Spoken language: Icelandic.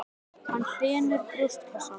Hann þenur brjóstkassann.